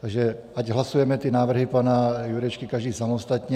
Takže ať hlasujeme ty návrhy pana Jurečky každý samostatně.